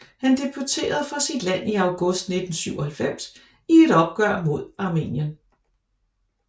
Han debuterede for sit land i august 1997 i et opgør mod Armenien